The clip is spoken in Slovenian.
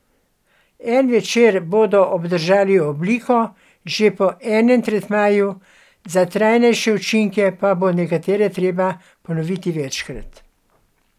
En večer bodo obdržali obliko že po enem tretmaju, za trajnejše učinke pa bo nekatere treba ponoviti večkrat.